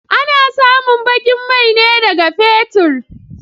A na samun baƙin mai ne daga fetur.